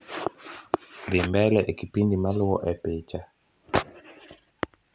dhi mbele e kipindi maluo e picha